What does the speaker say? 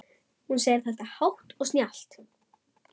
Hún segir þetta hátt og snjallt.